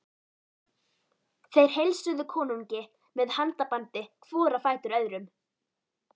Þeir heilsuðu konungi með handabandi hvor á fætur öðrum.